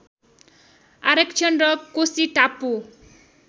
आरक्षण र कोशी टापु